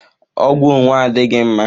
Ọgwụ onwe adịghị mma